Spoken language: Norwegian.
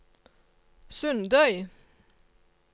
Sundøy